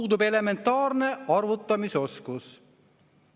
Puudub elementaarne arvutamisoskus.